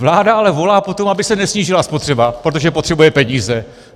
Vláda ale volá po tom, aby se nesnížila spotřeba, protože potřebuje peníze.